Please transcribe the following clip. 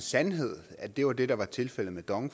sandhed at det var det der var tilfældet med dong